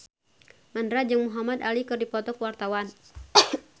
Mandra jeung Muhamad Ali keur dipoto ku wartawan